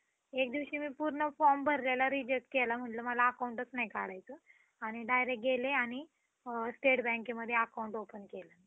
असमाधानाचे कारण त्याच्या दुःखात होतं. दुसऱ्या दिवशी सकाळी आपले संपूर्ण शेत विकून व घरातील लोकांची व्यवस्था लावून तो, हिऱ्याच्या शोधात बाहेर पडला.